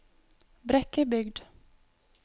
Brekkebygd